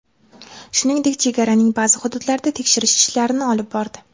Shuningdek, chegaraning ba’zi hududlarida tekshirish ishlarini olib bordi.